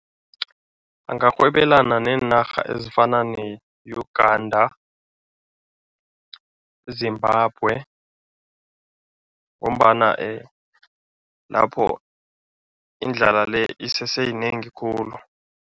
Angarhwebelena neenarha ezifana ne-Uganda, Zimbabwe ngombana lapho indlala le, isese yinengi khulu.